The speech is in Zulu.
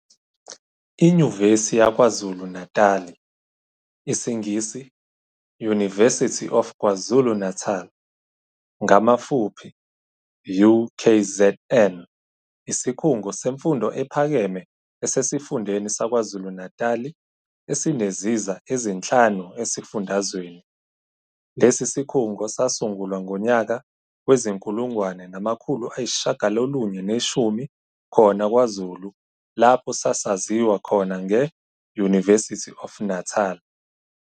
INyuvesi yaKwaZulu-Natali, IsiNgisi-"University of KwaZulu-Natal", ngamafuphi, UKZN, isikhungo semfundo ephakeme esesifundeni saKwaZulu-Natali esineziza ezinhlanu esifundazweni. Lesi sikhungo sasungulwa ngonyaka wezi-1910 khona kwaZulu lapho sasaziwa khona nge"University of Natal".